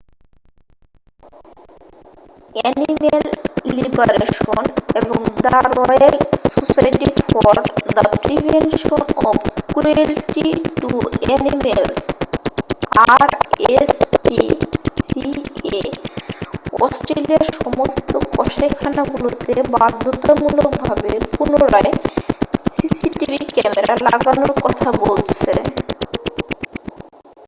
Animal liberation এবং the royal society for the prevention of cruelty to animals rspca অস্ট্রেলিয়ার সমস্ত কসাইখানাগুলোতে বাধ্যতামূলক ভাবে পুনরায় cctv ক্যামেরা লাগানোর কথা বলেছে।